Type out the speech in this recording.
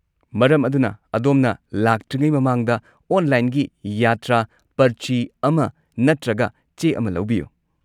ꯃꯔꯝ ꯑꯗꯨꯅ, ꯑꯗꯣꯝꯅ ꯂꯥꯛꯇ꯭ꯔꯤꯉꯩ ꯃꯃꯥꯡꯗ ꯑꯣꯟꯂꯥꯏꯟꯒꯤ ꯌꯥꯇ꯭ꯔꯥ ꯄꯔꯆꯤ ꯑꯃ ꯅꯠꯇ꯭ꯔꯒ ꯆꯦ ꯑꯃ ꯂꯧꯕꯤꯌꯨ꯫